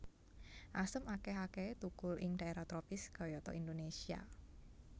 Asem akéh akéhé thukul ing dhaérah tropis kayata Indonésia